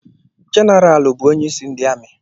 Generaalụ bụ onyeísí ndị amị.